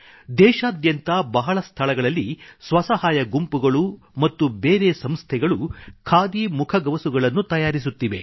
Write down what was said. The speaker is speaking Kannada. ದೇಶಾದ್ಯಂತ ಬಹಳ ಸ್ಥಳಗಳಲ್ಲಿ ಸ್ವಸಹಾಯ ಗುಂಪುಗಳು ಮತ್ತು ಬೇರೆ ಸಂಸ್ಥೆಗಳು ಖಾದಿ ಮುಖಗವಸುಗಳನ್ನು ತಯಾರಿಸುತ್ತಿವೆ